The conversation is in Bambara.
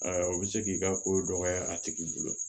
o bɛ se k'i ka ko dɔgɔya a tigi bolo